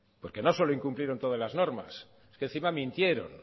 porque no solo incumplieron todas las normas es que encima mintieron